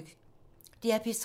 DR P3